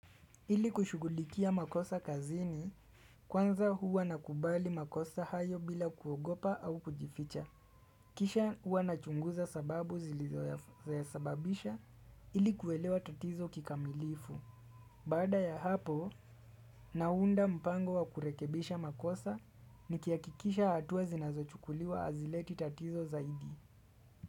Ili kushugulikia makosa kazini kwanza huwa nakubali makosa hayo bila kuogopa au kujificha. Kisha huwa nachunguza sababu zilizoyasababisha ili kuelewa tatizo kikamilifu. Bada ya hapo naunda mpango wa kurekebisha makosa nikihakikisha hatua zinazochukuliwa hazileti tatizo zaidi.